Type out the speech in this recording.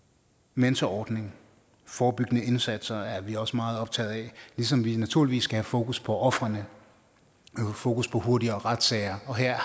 mentorordning forebyggende indsatser er vi også meget optaget af ligesom vi naturligvis skal have fokus på ofrene fokus på hurtigere retssager og her er